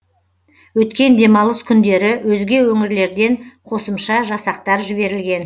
өткен демалыс күндері өзге өңірлерден қосымша жасақтар жіберілген